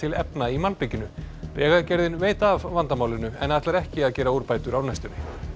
efna í malbikinu vegagerðin veit af vandamálinu en ætlar ekki að gera úrbætur á næstunni